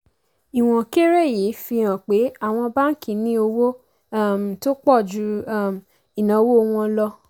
ìwọ̀n kéré yìí fi hàn pé àwọn báńkì ní owó um tó pọ̀ ju um ìnáwó wọn lọ.